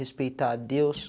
Respeitar a Deus.